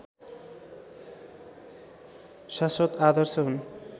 शाश्वत आदर्श हुन्